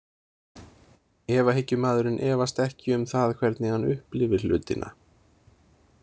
Efahyggjumaðurinn efast ekki um það hvernig hann upplifir hlutina.